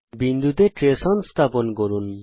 বিন্দুর জন্যে trace on স্থাপন করুন